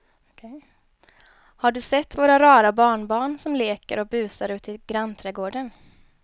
Har du sett våra rara barnbarn som leker och busar ute i grannträdgården!